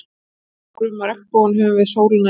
Þegar við horfum á regnbogann höfum við sólina í bakið.